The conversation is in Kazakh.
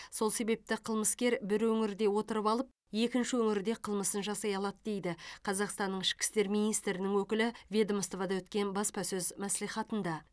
сол себепті қылмыскер бір өңірде отырып алып екінші өңірде қылмысын жасай алады дейді қазақстанның ішкі істер министрінің өкілі ведомствода өткен баспасөз мәслихатында